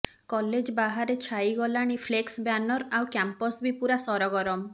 college ବାହାରେ ଛାଇଗଲାଣି flex banner ଆଉ କ୍ୟାମ୍ପସ ବି ପୁରା ସରଗରମ